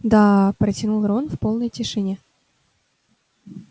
даа протянул рон в полной тишине